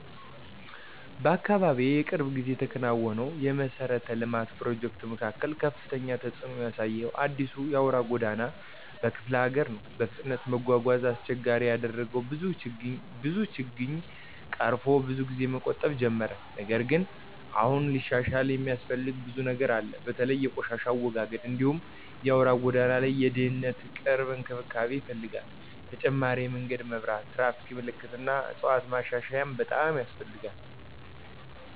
በአካባቢዬ የቅርብ ጊዜ የተከናወነው የመሠረተ ልማት ፕሮጀክት መካከል ከፍተኛ ተጽእኖ ያሳየው የአዲሱ አውራ ጎዳና በክፍለ ሀገር ነው። በፍጥነት መጓጓዣን አስቸጋሪ ያደረገው ብዙ ችግኝ ቀርፎ ብዙ ጊዜን መቆጠብ ጀመረ። ነገር ግን አሁንም ሊሻሻል የሚያስፈልገው ብዙ ነገር አለ። በተለይ የቆሻሻ አወጋገድ እንዲሁም በአውራ ጎዳናው ላይ የድህነት ቅርብ እንክብካቤ ይፈልጋል። ተጨማሪ የመንገድ መብራት፣ ትራፊክ ምልክቶች እና ዕፅዋት ማሻሻያም በጣም ያስፈልጋል።